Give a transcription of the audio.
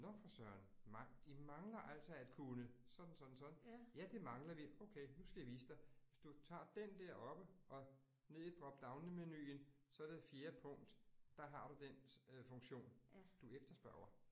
Nåh for søren, de mangler altså at kunne sådan sådan sådan, ja, det mangler vi, okay nu skal jeg vise dig. Hvis du tager den der oppe og ned i drop down menuen, så det fjerde punkt. Der har du den funktion, du efterspørger